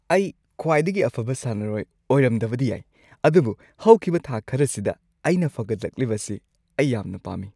ꯑꯩ ꯈ꯭ꯋꯥꯏꯗꯒꯤ ꯑꯐꯕ ꯁꯥꯟꯅꯔꯣꯏ ꯑꯣꯏꯔꯝꯗꯕꯗꯤ ꯌꯥꯏ ꯑꯗꯨꯕꯨ ꯍꯧꯈꯤꯕ ꯊꯥ ꯈꯔꯁꯤꯗ ꯑꯩꯅ ꯐꯒꯠꯂꯛꯂꯤꯕꯁꯤ ꯑꯩ ꯌꯥꯝꯅ ꯄꯥꯝꯃꯤ ꯫